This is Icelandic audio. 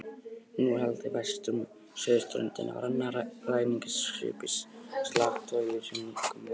Nú var haldið vestur með suðurströndinni með annað ræningjaskip í slagtogi sem nýkomið var.